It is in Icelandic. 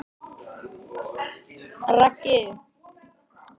Um haustið fluttumst við til Kaupmannahafnar.